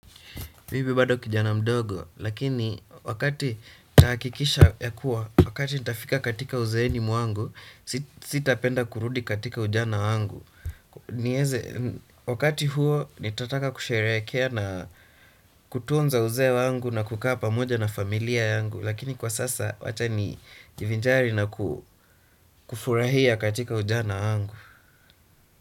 Mimi bado kijana mdogo, lakini wakati nahakikisha ya kuwa, wakati nitafika katika uzeeni mwangu, sitapenda kurudi katika ujana wangu, nieze. Wakati huo, nitataka kusherekea na kutunza uzee wangu na kukaa pamoja na familia yangu lakini kwa sasa, wacha nijiivinjari na kufurahia katika ujana wangu.